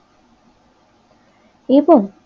এবং